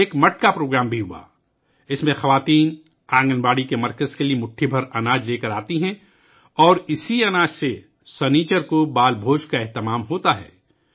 ایک مٹکا پروگرام بھی منعقد کیا گیا، جس میں خواتین آنگن واڑی مرکز میں مٹھی بھر اناج لاتی ہیں اور اس اناج سے ہفتہ کے روز ' بال بھوج ' کا اہتمام کیا جاتا ہے